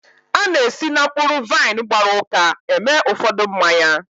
A na-esi na mkpụrụ vaịn gbara ụka eme ụfọdụ mmanya.